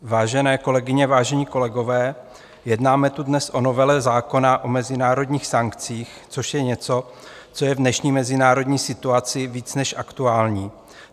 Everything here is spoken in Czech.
Vážené kolegyně, vážení kolegové, jednáme tu dnes o novele zákona o mezinárodních sankcích, což je něco, co je v dnešní mezinárodní situaci více než aktuální.